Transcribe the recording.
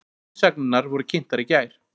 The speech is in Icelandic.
Umsagnirnar voru kynntar í gær